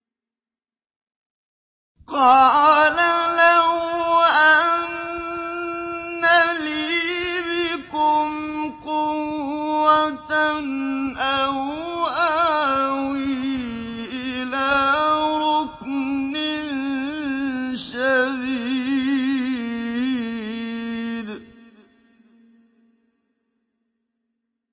قَالَ لَوْ أَنَّ لِي بِكُمْ قُوَّةً أَوْ آوِي إِلَىٰ رُكْنٍ شَدِيدٍ